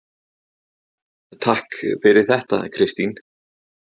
Alma: Takk fyrir þetta Kristín.